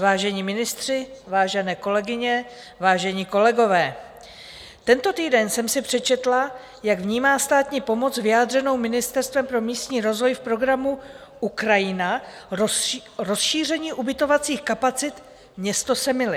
Vážení ministři, vážené kolegyně, vážení kolegové, tento týden jsem si přečetla, jak vnímá státní pomoc vyjádřenou Ministerstvem pro místní rozvoj v programu Ukrajina rozšíření ubytovacích kapacit město Semily.